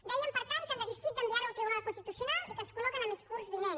dèiem per tant que han desistit d’enviar ho al tribunal constitucional i que ens col·loquen a mitjan curs vinent